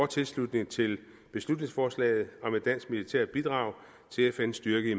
tilslutning til beslutningsforslaget om et dansk militært bidrag til fns styrke i